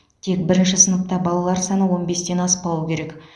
тек бірінші сыныпта балалар саны он бестен аспауы керек